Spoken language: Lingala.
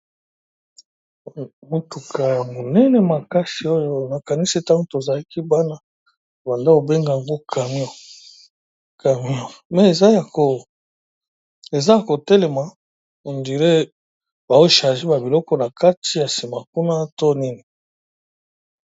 Motuka ya monene makasi ,ya camion n'a langi ya lilala na Langi ya mwindu, na mopanzi mususu camion n'a langi ya pembe.